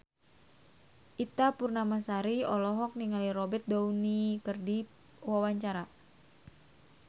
Ita Purnamasari olohok ningali Robert Downey keur diwawancara